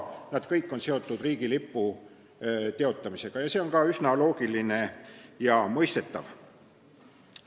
Need kõik on olnud seotud riigilipu teotamisega, see on ka üsna loogiline ja mõistetav.